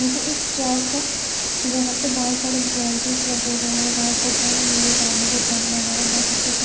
ये एक चर्च है जहां पर बहुत सारे ब्रांचेस लगे हुए हैं बहुत सारे ड्रम लगे एक आदमी जो ड्रम बाजार हैबहुत अच्छे से--